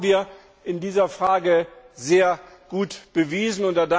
Das haben wir in dieser Frage sehr gut bewiesen.